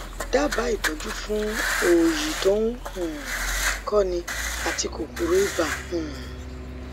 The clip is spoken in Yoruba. dábàá ìtọjú fún òòyì tó ń um kọni àti kòkòrò ibà um